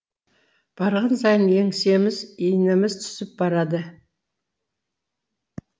барған сайын еңсеміз иініміз түсіп барады